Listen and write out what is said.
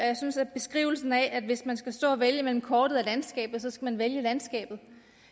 jeg synes at beskrivelsen af at hvis man skal stå og vælge mellem kortet og landskabet så skal man vælge landskabet